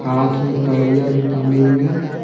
हाथ में कड़ियां भी पहने हुए हैं।